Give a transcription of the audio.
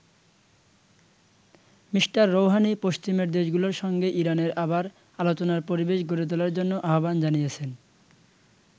Mr Rouhani পশ্চিমের দেশগুলোর সঙ্গে ইরানের আবার আলোচনার পরিবেশ গড়ে তোলার জন্য আহ্বান জানিয়েছেন।